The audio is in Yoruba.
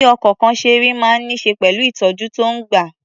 Bí ọkọ̀kan ṣe rí máa ń ní ṣe pẹ̀lú ìtọ̀jú tó ń gbà.